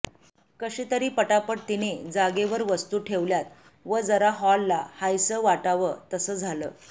कशीतरी पटापट तिने जागेवर वस्तु ठेवल्यात व जरा हॉलला हायस वाटाव तस झालं